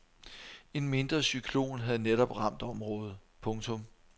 En mindre cyklon havde netop ramt området. punktum